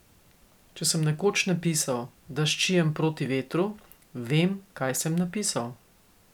Če sem nekoč napisal, da ščijem proti vetru, vem, kaj sem napisal.